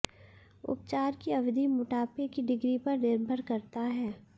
उपचार की अवधि मोटापे की डिग्री पर निर्भर करता है